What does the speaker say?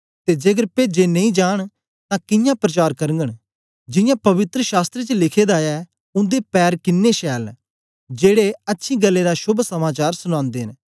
ते जेकर पेजे नेई जांन तां कियां प्रचार करगन जियां पवित्र शास्त्र च लिखे दा ऐ उन्दे पैर किनें शैल न जेड़े अच्छी गल्लें दा शोभ समाचार सुनांदे न